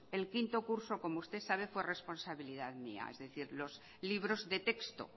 el quinto curso como usted sabe fue responsabilidad mía es decir los libros de texto